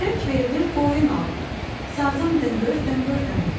Çörək verdim qoyun aldım, sazım dınqır, dınqır dınqır.